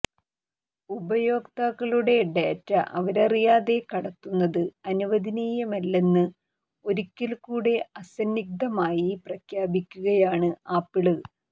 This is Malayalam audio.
ഉപയോക്താക്കളുടെ ഡേറ്റ അവരറിയാതെ കടത്തുന്നത് അനുവദനീയമല്ലെന്ന് ഒരിക്കല് കൂടെ അസന്നിഗ്ധമായി പ്രഖ്യാപിക്കകയാണ് ആപ്പിള്